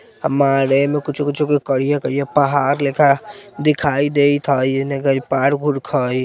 अमाह में कुछो कुछो के करिये करिये पहाड़ लेखा दिखाई देत हई येने कारे पार्क उरक हई